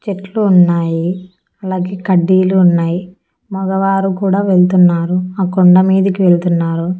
చెట్లు ఉన్నాయి అలాగే కడ్డీలు ఉన్నాయ్ మగవారు కూడా వెళ్తున్నారు ఆ కొండ మీదకి వెళ్తున్నారు.